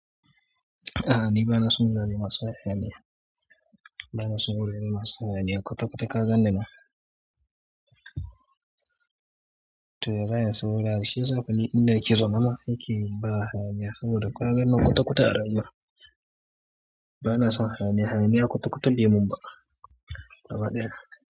A'a ni bana son wurare masu hayaniya. Bana son wurare masu hayaniya. Kwata-kwata ka gan ni ma. To ya zan in san wani abu shiyasa kullin inda nake zo nama yake ba hayaniya saboda ka ganni nan kwata-kwata a rayuwa bana son hayaniya hayaniya kwata-kwata bai man ba. Gaba ɗaya.